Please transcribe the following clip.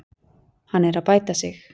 Hann er að bæta sig.